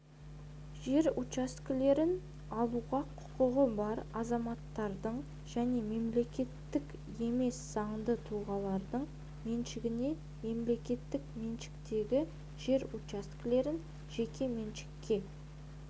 жер учаскелерін алуға құқығы бар азаматтардың және мемлекеттік емес заңды тұлғалардың меншігіне мемлекеттік меншіктегі жер учаскелерін жеке меншікке